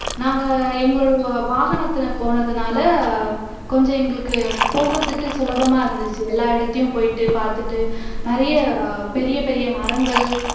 நாங்க எங்களோட வாகனத்துல போனதுனால கொஞ்சம் எங்களுக்கு போகுறதுக்கு சுலபமா இருந்துச்சு எல்லா இடத்தையும் போயிட்டு பாத்துட்டு நிறைய பெரிய பெரிய மரங்கள்